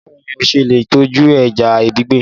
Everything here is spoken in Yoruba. Báwo ni o ṣe lè tọ́jú ẹja gbígbẹ?